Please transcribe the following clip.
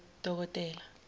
dokotela